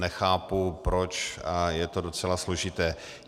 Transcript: Nechápu proč a je to docela složité.